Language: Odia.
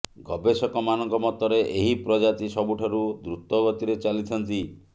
ଗବେଷକ ମାନଙ୍କ ମତରେ ଏହି ପ୍ରଜାତି ସବୁଠାରୁ ଦ୍ରୁତ ଗତିରେ ଚାଲିଥାନ୍ତି